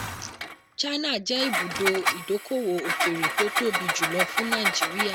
china jẹ́ ibùdó ìdókòwò òkèèrè tó tóbi jùlọ fún nàìjíríà.